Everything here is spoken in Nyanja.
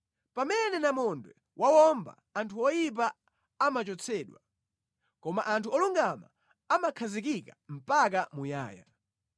Pamene namondwe wawomba, anthu oyipa amachotsedwa, koma anthu olungama amakhazikika mpaka muyaya.